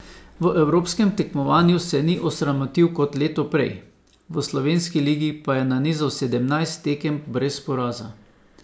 V evropskem tekmovanju se ni osramotil kot leto prej, v slovenski ligi pa je nanizal sedemnajst tekem brez poraza.